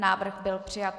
Návrh byl přijat.